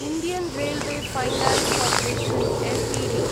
Indian railway finance corporation Ltd